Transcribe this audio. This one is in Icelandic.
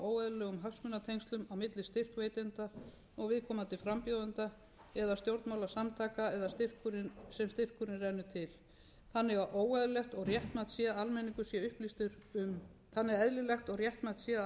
hagsmunatengslum á milli styrkveitenda og viðkomandi frambjóðenda eða stjórnmálasamtaka eða sem styrkurinn rennur til þannig er eðlilegt og réttmætt sé að almenningur sé upplýstur um